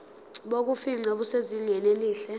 bokufingqa busezingeni elihle